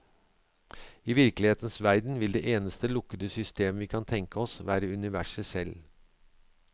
I virkelighetens verden vil det eneste lukkede systemet vi kan tenke oss, være universet selv.